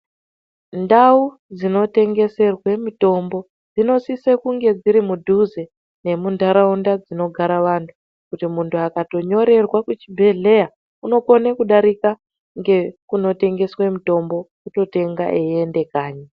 Ndau dzinotengeserwe mitombo dzinosise kunge dziri mudhuze nemundharaunda dzinonogara vantu .kuti muntu akatonyorerwa kuchibhedhleya unotokona kudarika ngekunotengeswa mutombo ototenga eienda kanyi.